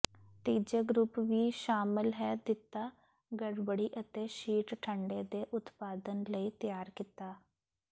ਤੀਜੇ ਗਰੁੱਪ ਵੀ ਸ਼ਾਮਲ ਹੈ ਦਿੱਤਾ ਗੜਬੜੀ ਅਤੇ ਸ਼ੀਟ ਠੰਡੇ ਦੇ ਉਤਪਾਦਨ ਲਈ ਤਿਆਰ ਕੀਤਾ